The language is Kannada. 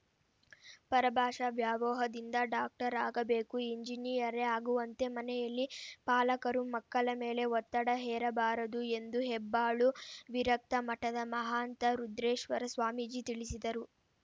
ಪರಭಾಷಾ ವ್ಯಾಮೋಹದಿಂದ ಡಾಕ್ಟರ್‌ ಆಗಬೇಕು ಎಂಜಿನಿಯರೇ ಆಗುವಂತೆ ಮನೆಯಲ್ಲಿ ಪಾಲಕರು ಮಕ್ಕಳ ಮೇಲೆ ಒತ್ತಡ ಹೇರಬಾರದು ಎಂದು ಹೆಬ್ಬಾಳು ವಿರಕ್ತ ಮಠದ ಮಹಾಂತ ರುದ್ರೇಶ್ವರ ಸ್ವಾಮೀಜಿ ತಿಳಿಸಿದರು